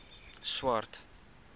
swart